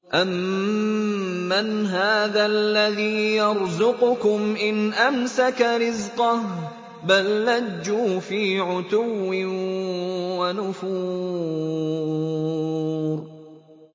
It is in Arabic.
أَمَّنْ هَٰذَا الَّذِي يَرْزُقُكُمْ إِنْ أَمْسَكَ رِزْقَهُ ۚ بَل لَّجُّوا فِي عُتُوٍّ وَنُفُورٍ